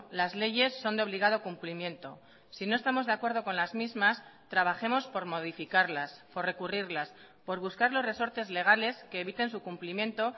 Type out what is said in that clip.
las leyes son de obligado cumplimiento si no estamos de acuerdo con las mismas trabajemos por modificarlas por recurrirlas por buscar los resortes legales que eviten su cumplimiento